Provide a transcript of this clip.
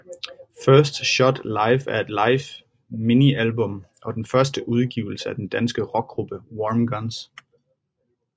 First Shot Live er et live minialbum og den første udgivelse af den danske rockgruppe Warm Guns